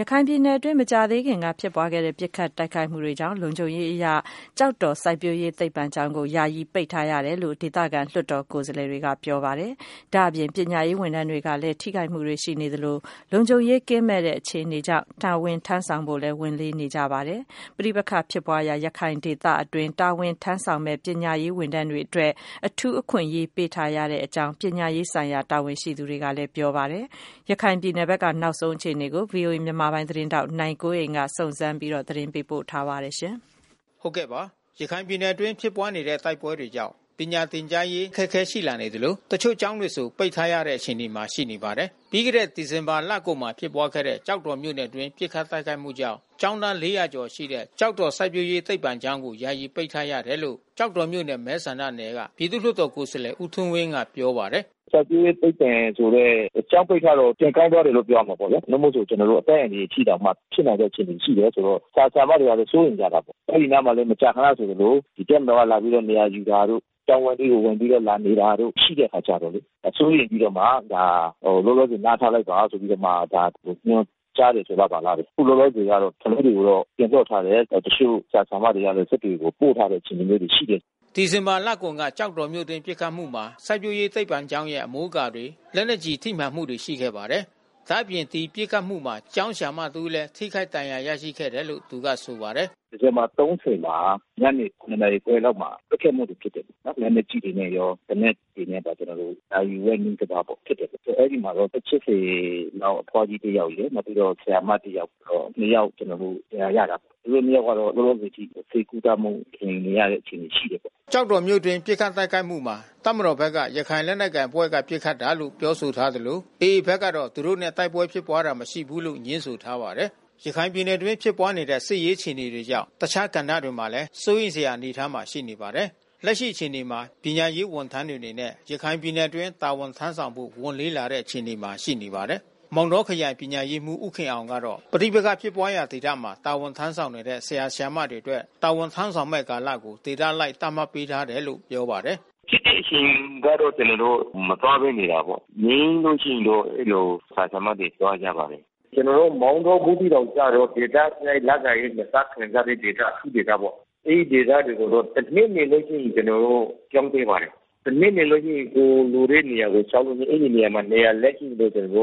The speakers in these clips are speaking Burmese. ရခိုင်ပြည်နယ်အတွင်း မကြာသေးခင်ကဖြစ်ပွားခဲ့တဲ့ ပစ်ခတ်တိုက်ခိုက်မှုကြောင့် လုံခြုံရေးအရ ကျောက်တော်စိုက်ပျိုးရေး သိပ္ပံကျောင်းကို ယာယီပိတ်ထား ရတယ်လို့ ဒေသခံ လွှတ်တော်ကိုယ်စားလှယ် တွေက ပြောပါတယ်။ ဒါအပြင် ပညာရေး ဝန်ထမ်းတွေကလဲ ထိခိုက်မှုတွေ ရှိနေသလို လုံခြုံမှုကင်းမဲ့တဲ့အခြေအနေကြောင့် တာဝန်ထမ်းဆောင်ဖို့ ဝန်လေးနေ ကြပါတယ်။ ပဋိပက္ခဖြစ်ပွားရာရခိုင်ဒေသအတွင်း တာဝန်ထမ်းဆောင်မယ့် ပညာရေးဝန်ထမ်းတွေအတွက် အထုူးအခွင့်အရေး ပေးထားရတယ်လို့ ပညာရေးဆိုင်ရာတာဝန်ရှိသူတွေကပြောပါတယ်။ ရခိုင်ပြည်နယ်ဘက်က နောက်ဆုံးအခြေအနေကို ဗွီအိုအေမြန်မာပိုင်း သတင်းထောက် နိုင်ကွန်းအိန်ကနေ သတင်းပေးပို့ ထားပါတယ်။ ရခိုင်ပြည်နယ်အတွင်းဖြစ်ပွားနေတဲ့တိုက်ပွဲတွေကြောင့် ပညာသင်ကြားရေးအခက်ခဲရှိလာနေသလို တချို့ကျောင်းတွေ ဆို ပိတ်ထားရတဲ့အခြေအနေမှာရှိနေပါတယ်။ ပြီးခဲ့တဲ့ဒီဇင်ဘာလကုန်မှာဖြစ်ခဲ့တဲ့ ကျောက်တော်မြို့နယ်အတွင်း ပစ်ခတ်တိုက်ခိုက်မှုကြောင့် ကျောင်းသား(၄၀၀) ကျော်ရှိတဲ့ ကျောက်တော်စိုက်ပျိုး ရေးသိပ္ပံကျောင်းကို ယာယီပိတ်ထားရတယ်လို့ ကျောက်တော်မြို့နယ်မဲဆန္ဒ နယ် ကပြည်သူ့ လွှတ်တော်ကိုယ်စားလှယ် ဦးထွန်းဝင်းကပြောပါတယ်။ “စိုက်ပျိုးရေးသိပ္ပံကျောင်းပိတ်ထားတော ပြန်ခိုင်းထားတယ်လို့ပြောရမှာပေါ့ဗျာ။ နိ့မို့ဆို အသက်အန္တရာယ်ရှိတောင်မှ ဖြစ်နိုင်တဲ့အခြေအနေရှိတယ် ဆိုတော့ ဆရာဆရာမတွေလည်း စိုးရိမ်ကြတာပေါ့။ အဲဒီအနားမှာမကြာခဏဆိုသလို တပ်မ တော်ကလာပြီးနေရာယူတာတို့ ကျောင်းဝင်းထဲလာနေတာတို့ရှိတဲ့အခါကျတော့လေ။ စိုးရိမ်ပြီးတော့ ဒါလောလော ဆယ် နားထားလိုက်ပါဆိုပြီးတော့မှ ညွှန်ကြားတယ်ဆိုလားဘာလားဘဲ။ အခုလောလောဆယ်ဆယ်တော့ ကလေးတွေ ကို တော့ပြန်လွှတ်ထားတယ်။ တချို့ဆရာဆရာမတွေလဲ စစ်တွေကို ပို့ထားလိုက်တယ်။ ဒီလို အခြေအနေမျိုးတွေ ရှိတယ်။” ဒီဇင်ဘာလကုန်က ကျောက်တော်မြို့အတွင်းပစ်ခတ်မှုမှာ စိုက်ပျိုး ရေးသိပ္ပံကျောင်းရဲ့ အမိုးအကာတွေ လက်နက် ကျည်ထိမှန်မှုတွေရှိခဲ့ပါတယ်။ ဒါအပြင်ဒီပစ်ခတ်မှုမှာ ကျောင်းဆရာမတဦးလည်း ထိခိုက်ဒဏ်ရာရရှိခဲ့တယ်လို့ သူကဆိုပါတယ်။ “ဒီဇင်ဘာ(၃၀)မှာ ည(၇)နာရီခွဲလောက်မှာ ပစ်ခတ်မှုတွေဖြစ်တယ်။ လက်နက်ကြီးတွေနဲ့ရော သေနတ်တွေနဲ့ပါ ကျွန်တော်တို့ နာရီဝက် နီးပါးပစ်တယ်ပေါ့။ အဲဒီမှာအသက်(၈၀)လောက်အဖွားကြီးတယောက်ရယ် နောက်ပြီးတော့ ဆရာမ တယောက်ရယ် နှစ်ယောက် ဒဏ်ရာရတာပေါ့။ သူတို့နှစ်ယောက်ကတော့လောလောဆယ်အထိ ဆေးကုသမှု ခံယူနေရတဲ့ အခြေအနေရှိတယ်ပေါ့။” ကျောက်တော်မြို့အတွင်း ပစ်ခတ်တိုက်ခိုက်မှူမှာ တပ်မတော်ဘက်က ရခိုင်လက်နက်ကိုင် အဖွဲ့ပစ်ခတ်တာလို့ ပြောဆို ထားသလိုAAဖက်ကတော့ သူတို့နဲ့တိုက်ပွဲဖြစ်ပွားတာမရှိဘူးလို့ ငြင်းဆိုထားပါတယ်။ ရခိုင်ပြည်နယ်အတွင်းဖြစ်နေတဲ့ စစ်ရေးအခြေအနေကြောင့် ပညာရေး အပါအဝင် တခြားကဏ္ဍတွေမှာလဲ စိုးရိမ်စရာ အနေအထားမှာရှိနေပါတယ်။ လက်ရှိ အခြေအနေမှာ ပညာရေးဝန်ထမ်းတွေအနေနဲ့ရခိုင်ပြည်နယ်အတွင်းတာဝန်ထမ်းဆောင်ဖို့ ဝန်လေးလာတဲ့ အနေအထားမှာ ရှိနေပါတယ်။ မောင်တောခရိုင် ပညာရေးမှူးဦးခင်အောင်ကတော့ ပဋိပက္ခဖြစ်ပွားရာဒေသမှာ တာဝန်ထမ်းဆောင်တဲ့ ဆရာ၊ ဆရာမ တွေအတွက် တာဝန်ထမ်းဆောင်မယ့် ကာလကို ဒေသအလိုက် သတ်မှတ်ပေးထားတယ်လို့ပြောပါတယ်။ “ဖြစ်တဲ့အချိန်ကျတော့ ကျွန်တော်တို့မသွားဘဲနေတာပေါ့။ ငြိမ်းလို့ရှိရင်တော့ အဲဒီလိုဆရာ၊ ဆရာမတွေ သွားကြပါတယ်။ ကျွန်တော်တို့ မောင်တောဘူးသီးတောင်ကျတော့ ဒေသအလိုက်လစာ(၂)ဆခံစားခွင့် အထူးဒေသပေါ့။ အဲဒီဒေသ ကို တော့တနှစ်နေလို့ရှိရင် ကျွန်တော်တို့ပြောင်းပေးပါတယ်။ တနှစ်နေလို့ရှိရင် ကိုယ်နေတဲ့နေရာကို လျှောက်လိုက်ပြီး အဲဒီနေရာမှာ နေရာလွတ်ရှိရင်ကိုပြောင်းခွင့်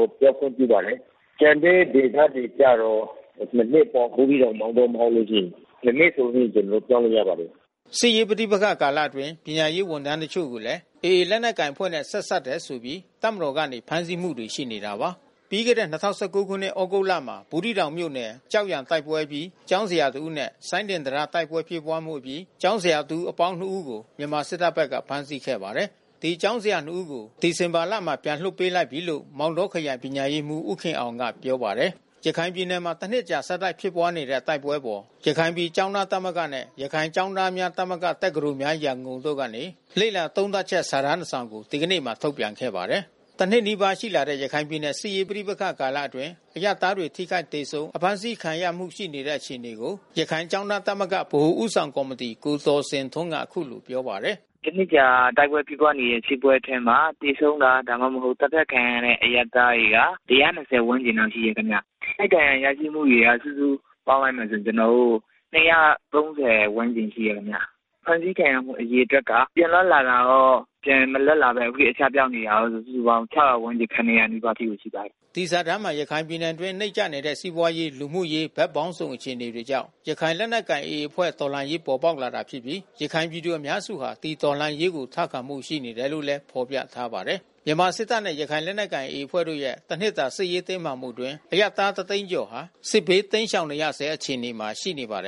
ပြုပါတယ်။ ကျန်တဲ့ဒေသတွေကျတော့ (၂)နှစ်ပေါ့ ဘူးသီးတောင် မောင်တော မဟုတ်လို့ရှိရင်။” စစ်ရေးပဋိပက္ခကာလအတွင်း ပညာရေးဝန်ထမ်းတချို့ကိုလဲ AAရခိုင်လက်နက်ကိုင်အဖွဲ့နဲ့ ဆက်စပ်တယ်ဆိုပြီး တပ်မတော်ကနေဖမ်းဆီးမှုတွေရှိနေတာပါ။ ပြီးခဲ့တဲ့ ၂၀၁၉ခုနှစ် ၊ သြဂုတ်လမှာ ဘူးသီးတောင်မြို့နယ် ကျောက်ရန်ကျေးရွာတိုက်ပွဲအပြီး ကျောင်းဆရာတဦးနဲ့ စိုင်းဒင်တံတားတိုက်ပွဲဖြစ်ပွါးအပြီး ကျောင်းဆရာတဦး အပေါင်း(၂)ဦး ကိုမြန်မာစစ်တပ်ဘက်က ဖမ်းဆီးခဲ့ပါတယ်။ ဒီကျောင်းဆရာနှစ်ဦးကိုဒီဇင်ဘာလမှာ ပြန်လွှတ်ပေးလိုက်ပြီလို့ မောင်တောခရိုင်ပညာရေးမှူး ဦးခင်အောင်က ပြောပါတယ်။ ရခိုင်ပြည်နယ်မှာ တနှစ်ကြာ-ဆက်တိုက် ဖြစ်ပွားနေတဲ့ စစ်ပွဲအပေါ် ရခိုင်ပြည်ကျောင်းသားသမဂ္ဂနဲ့ ရခိုင်ကျောင်းသား များသမဂ္ဂ (တက္ကသိုလ်များ-ရန်ကုန်)တို့ကနေ လေ့လာသုံးသပ်ချက် စာတန်းတခုကို ဒီကနေ့မှာထုတ်ပြန်ခဲ့ပါတယ်။ တနှစ်နီးပါးရှိလာတဲ့ ရခိုင်ပြည်နယ်စစ်ရေးပဋိပက္ခအတွင်း အရပ်သားတွေထိခိုက်သေဆုံး အဖမ်းဆီးခံရမှုရှိ နေတဲ့ အခြေအနေကို ရခိုင်ကျောင်းသားသမဂ္ဂ ဗဟိုဦးဆောင်ကော်မီတီ ကိုသော်ဇင်ထွန်းက အခုလိုပြောပါတယ်။ “တနှစ်ကြာဖြစ်ပွားနေတဲ့တိုက်ပွဲအတွင်းမှာ သေဆုံးတာ ဒါမှမဟုတ် သတ်ဖြတ်ခံရတဲ့ အရပ်သားတွေကတော့ (၁၂၀) ဝန်းကျင်လောက်ရှိတယ်ခင်ဗျ။ ထိခိုက်ဒဏ်ရာရရှိမှုတွေကတော့ စုစုပေါင်းလိုက်မယ်ဆိုရင် (၂၃၀)ဝန်းကျင်ရှိတယ်ခင်ဗျ။ ဖမ်းဆီးခံရမှုအရေအတွက်က ပြန်လွှတ်လာတာရော၊ ပြန်မလွှတ်လာဘဲ အစပျောက်နေတာရော စုစုပေါင်း(၆၀၀)ဝန်းကျင် (၇၀၀)လောက်ရှိတယ်ခင်ဗျ။” ဒီစာတန်းမှာ ရခိုင်ပြည်နယ်အတွင်း နိမ့်ကျနေတဲ့စီးပွါးရေး လူမှုရေး ဘက်ပေါင်းစုံအခြေအနေကြောင့် ရခိုင်လက်နက် ကိုင်AAအဖွဲ့တော်လှန်ရေးပေါ်ပေါက်လာတာဖြစ်ပြီး ရခိုင်ပြည်သူအများစုက ဒီတော်လှန်ရေးကိုထောက်ခံမှုရှိနေတယ် လို့ ဖေါ်ပြထားပါတယ်။ မြန်မာစစ်တပ်နဲ့ရခိုင်လက်နက်ကိုင်AAတို့ရဲ့တနှစ်တာ စစ်ရေးတင်းမာမှုအတွင်း အရပ်သားတသိန်းကျော်ဟာ စစ်ဘေးတိမ်းရှောင်နေရဆဲ အခြေအနေမှာရှိနေပါတယ်